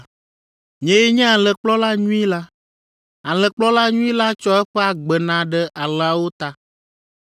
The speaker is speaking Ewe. “Nyee nye alẽkplɔla nyui la. Alẽkplɔla nyui la tsɔ eƒe agbe na ɖe alẽawo ta.